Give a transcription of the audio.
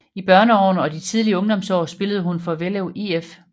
I børneårene og de tidlige ungdomsår spillede hun for Vellev IF